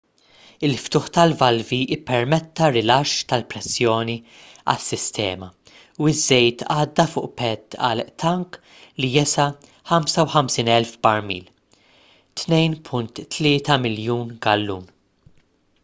il-ftuħ tal-valvi ppermetta rilaxx tal-pressjoni għas-sistema u ż-żejt għadda fuq pad għal tank li jesa' 55,000 barmil 2.3 miljun gallun